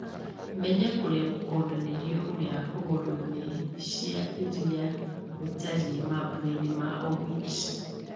menya kũrĩa gũkonanĩrio ũrĩa hũgũrũ-inĩ cia iria gũtariĩ mambura-ini ma owit